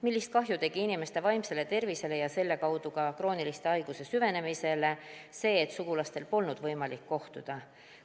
Millist kahju tegi inimeste vaimsele tervisele ja selle kaudu ka krooniliste haiguste süvenemisele see, et sugulastel polnud võimalik kohtuda?